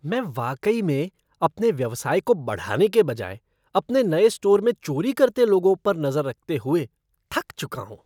मैं वाकई में अपने व्यवसाय को बढ़ाने के बजाय अपने नए स्टोर में चोरी करते लोगों पर नजर रखते हुए थक चुका हूँ।